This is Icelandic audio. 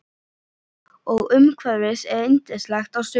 Og umhverfið er yndislegt á sumrin.